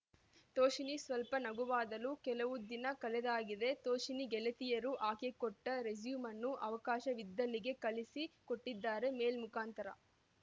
ತೋಷಿಣೀ ಸ್ವಲ್ಪ ನಗುವಾದಳು ಕೆಲವು ದಿನ ಕಳೆದಾಗಿದೆ ತೋಷಿಣಿ ಗೆಳತಿಯರು ಆಕೆ ಕೊಟ್ಟರೆಸ್ಯೂಮನ್ನು ಅವಕಾಶವಿದ್ದಲ್ಲಿಗೆ ಕಳಿಸಿ ಕೊಟ್ಟಿದ್ದಾರೆ ಮೆಲ್ ಮುಖಾಂತರ